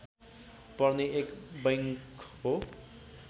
पर्ने एक बैङ्क हो